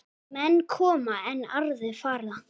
Menn koma, en aðrir fara.